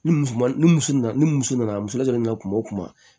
Ni muso man ni muso nana ni muso nana musola kuma o kuma